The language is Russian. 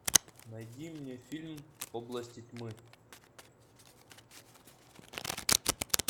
найди мне фильм области тьмы